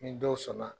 Ni dɔw sɔnna